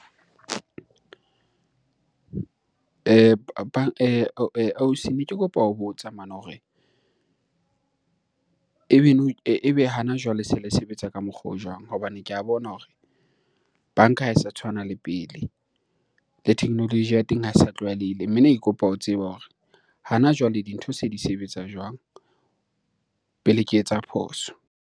Ne ke kopa ho botsa hore ebe ebe hana jwale se le sebetsa ka mokgwa o jwang? Hobane ke a bona hore banka ha e sa tshwana le pele. Le technology ya teng ha e sa tlwaelehile, mme ne ke kopa ho tseba hore hana jwale dintho se di sebetsa jwang pele ke etsa phoso?